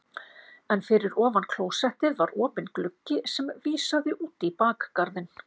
En fyrir ofan klósettið var opinn gluggi sem vísaði út í bakgarðinn.